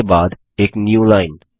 उसके बाद एक न्यूलाइन